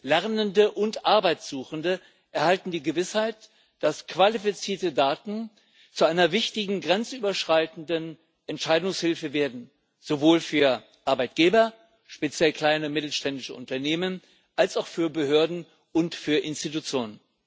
Lernende und Arbeitsuchende erhalten die Gewissheit, dass qualifizierte Daten zu einer wichtigen grenzüberschreitenden Entscheidungshilfe werden, sowohl für Arbeitgeber, speziell kleine und mittelständische Unternehmen, als auch für Behörden und für Institutionen.